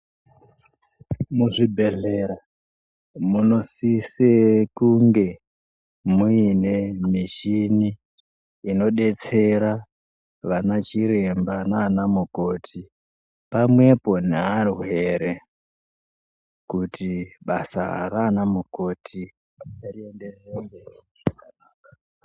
Mu zvibhedhlera muno sise kunge muine mishini ino detsera vana chiremba nana mukoto pamwepo neva rwere kuti basa rana mukoti rienderere mberi zvakanaka.